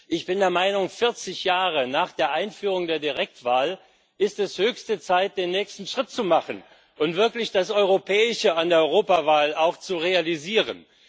Ich bin der Meinung, 40 Jahre nach der Einführung der Direktwahl ist es höchste Zeit, den nächsten Schritt zu machen und wirklich das Europäische an der Europawahl auch zu realisieren.